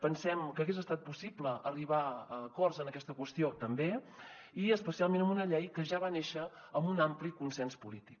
pensem que hagués estat possible arribar a acords en aquesta qüestió també i especialment amb una llei que ja va néixer amb un ampli consens polític